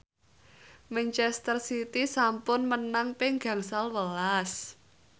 manchester city sampun menang ping gangsal welas